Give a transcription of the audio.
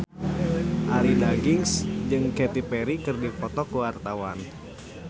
Arie Daginks jeung Katy Perry keur dipoto ku wartawan